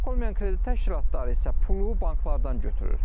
Bank olmayan kredit təşkilatları isə pulu banklardan götürür.